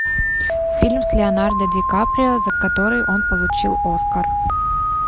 фильм с леонардо ди каприо за который он получил оскар